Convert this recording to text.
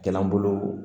Jalan bolo